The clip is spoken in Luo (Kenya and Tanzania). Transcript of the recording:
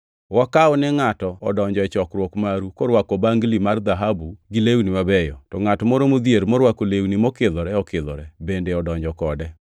Wakaw ni ngʼato odonjo e chokruok maru korwako bangli mar dhahabu gi lewni mabeyo, to ngʼat moro modhier morwako lewni mokidhore okidhore bende odonjo kode.